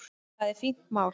Það er fínt mál.